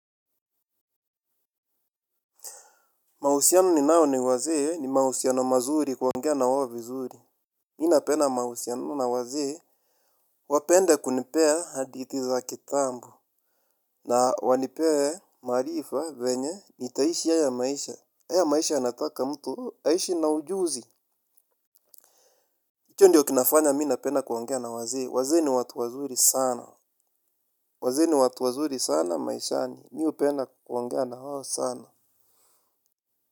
Mahusiano ninao ni wazee ni mahusiano mazuri kuongea na wao vizuri Mi napenda mahusiano na wazee wapende kunipea hadithi za kitambo. Na wanipee maarifa venye nitaishi haya maisha. Haya maisha yanataka mtu aishi na ujuzi. Icho ndiyo kinafanya mi napenda kuongea na wazee wazee ni watu wazuri sana. Wazee ni watu wazuri sana maishani mi upenda kuongea na wao sana.